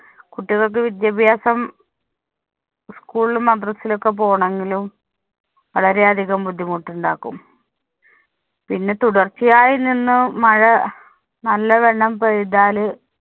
കുട്ടികള്‍ക്ക് വിദ്യാഭ്യാസം school ലും, മദ്രസ്സയിലൊക്കെ പോണോങ്കിലും വളരെ അധികം ബുദ്ധിമുട്ടുണ്ടാക്കും. പിന്നെ തുടര്‍ച്ചയായി നിന്ന് മഴ നല്ലവണ്ണം പെയ്താല്